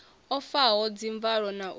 o faho dzimvalo na u